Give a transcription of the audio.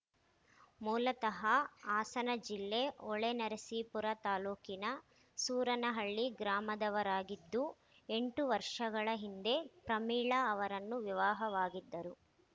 ಮೂಲತಃ ಹಾಸನ ಜಿಲ್ಲೆ ಹೊಳೆನರಸಿಪುರ ತಾಲೂಕಿನ ಸೂರನಹಳ್ಳಿ ಗ್ರಾಮದವರಾಗಿದ್ದು ಎಂಟು ವರ್ಷಗಳ ಹಿಂದೆ ಪ್ರಮೀಳಾ ಅವರನ್ನು ವಿವಾಹವಾಗಿದ್ದರು